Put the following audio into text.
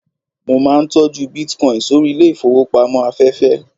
mo ma n tọju bitcoin sórí ilẹ ifowópamọ́ aféfé